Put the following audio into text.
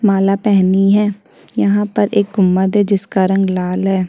माला पहनी है यहाँ पे एक गुम्मद है जिसका रंग लाल है।